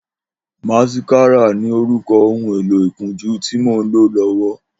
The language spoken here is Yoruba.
Màsíkàrá ni órùkọ̀ óhùn éló ikùnjù ti mó n ló lọwọ